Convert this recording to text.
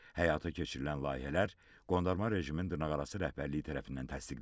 Həyata keçirilən layihələr qondarma rejimin dırnaqarası rəhbərliyi tərəfindən təsdiqlənib.